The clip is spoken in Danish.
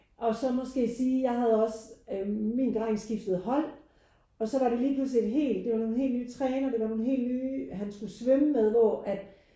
Og så måske sige jeg havde også øh min dreng skiftede hold og så var det lige pludselig et helt det var nogen helt nye trænere det var nogen helt nye han skulle svømme med hvor at